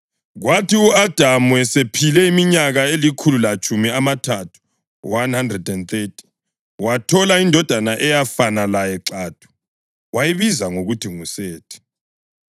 Kwathi u-Adamu esephile iminyaka elikhulu lamatshumi amathathu (130) wathola indodana eyafana laye xathu; wayibiza ngokuthi nguSethi.